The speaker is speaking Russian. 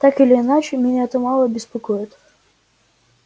так или иначе меня это мало беспокоит